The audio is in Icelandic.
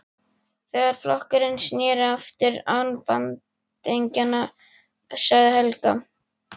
Þegar flokkurinn sneri aftur án bandingja, sagði Helga.